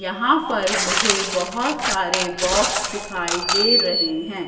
यहां पर मुझे बहोत सारे बॉक्स दिखाई दे रहे हैं।